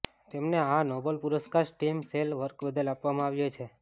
તેમને આ નોબલ પુરસ્કાર સ્ટીમ સેલ વર્ક બદલ આપવામાં આવ્યો છે